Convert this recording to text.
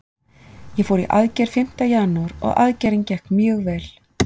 Ég fór í aðgerð fimmta janúar og aðgerðin gekk mjög vel.